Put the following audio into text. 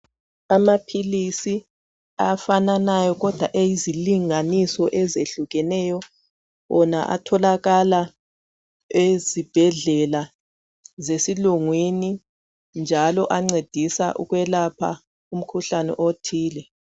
Amaphilisi afananayo kodwa eyezilinganiso ezehlukeneyo wona atholakala ezibhedlela zesilungwini njalo ancedisa ukwelapha umkhuhlane othile.